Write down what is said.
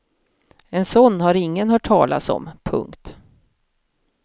En sådan har ingen hört talas om. punkt